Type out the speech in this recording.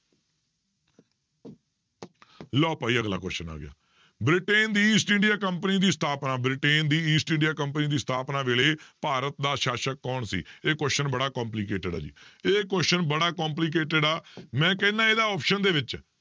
ਲਓ ਭਾਈ ਅਗਲਾ question ਆ ਗਿਆ, ਬ੍ਰਿਟੇਨ ਦੀ ਈਸਟ ਇੰਡੀਆ company ਦੀ ਸਥਾਪਨਾ ਬ੍ਰਿਟੇਨ ਦੀ ਈਸਟ ਇੰਡੀਆ company ਦੀ ਸਥਾਪਨਾ ਵੇਲੇ ਭਾਰਤ ਦਾ ਸਾਸਕ ਕੌਣ ਸੀ ਇਹ question ਬੜਾ complicated ਆ ਜੀ, ਇਹ question ਬੜਾ complicated ਆ ਮੈਂ ਕਹਿਨਾ ਇਹਦੇ option ਦੇ ਵਿੱਚ